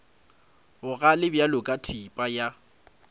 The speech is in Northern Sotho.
bogale bjalo ka thipa ya